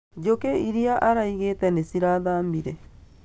Njũkĩ iria araigĩte nĩcirathamire